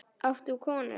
Átt þú konu?